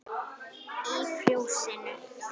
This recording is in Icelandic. Í Fjósinu